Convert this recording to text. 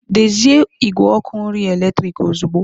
Dezie igwe ọkụ nri eletrik ozugbo!